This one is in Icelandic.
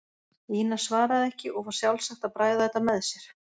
Ína svaraði ekki og var sjálfsagt að bræða þetta með sér.